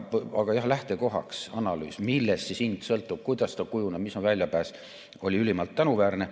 Aga jah, lähtekohana analüüs, millest hind sõltub, kuidas ta kujuneb, mis on väljapääs, oli ülimalt tänuväärne.